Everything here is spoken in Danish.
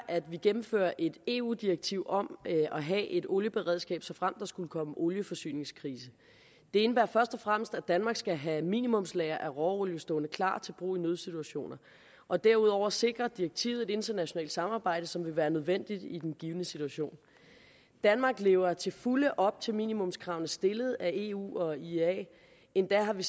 at vi gennemfører et eu direktiv om at have et olieberedskab såfremt der skulle komme olieforsyningskrise det indebærer først og fremmest at danmark skal have et minimumslager af råolie stående klart til brug i nødsituationer og derudover sikrer direktivet et internationalt samarbejde som vil være nødvendigt i den givne situation danmark lever til fulde op til minimumskravene stillet af eu og iea endda har vi